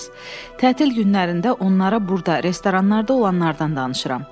"Tətil günlərində onlara burda restoranlarda olanlardan danışıram."